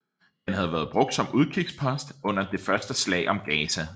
Den havde været brugt som udkigspost under det første slag om Gaza